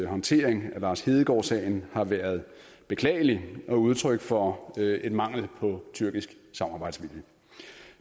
håndtering af lars hedegaard sagen har været beklagelig og udtryk for en mangel på tyrkisk samarbejdsvilje